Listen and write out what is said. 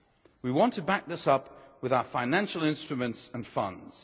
We want to back this up with our financial instruments and funds.